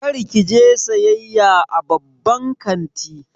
Kar ki je sayayya a babban kanti.